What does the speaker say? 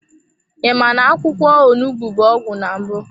I ma na-akwụkwọ onugbu bụ ọgwụ na mbụ?